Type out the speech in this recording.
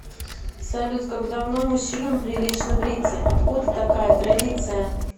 салют как давно мужчинам прилично бриться откуда такая традиция